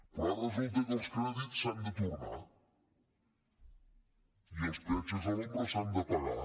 però ara resulta que els crèdits s’han de tornar i els peatges a l’ombra s’han de pagar